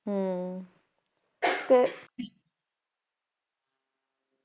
ਹਮਮ